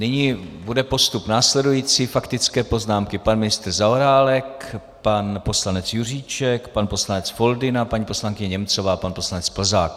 Nyní bude postup následující: faktické poznámky pan ministr Zaorálek, pan poslanec Juříček, pan poslanec Foldyna, paní poslankyně Němcová, pan poslanec Plzák.